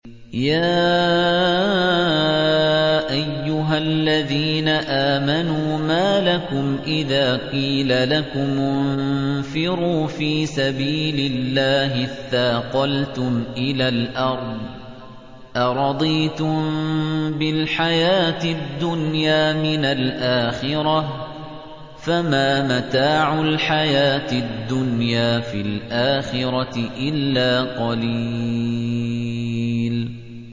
يَا أَيُّهَا الَّذِينَ آمَنُوا مَا لَكُمْ إِذَا قِيلَ لَكُمُ انفِرُوا فِي سَبِيلِ اللَّهِ اثَّاقَلْتُمْ إِلَى الْأَرْضِ ۚ أَرَضِيتُم بِالْحَيَاةِ الدُّنْيَا مِنَ الْآخِرَةِ ۚ فَمَا مَتَاعُ الْحَيَاةِ الدُّنْيَا فِي الْآخِرَةِ إِلَّا قَلِيلٌ